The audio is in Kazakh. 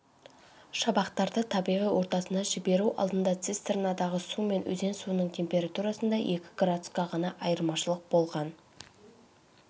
шабақтарды табиғи ортасына жіберу алдында цистернадағы су мен өзен суының температурасында екі градусқа ғана айырмашылық болған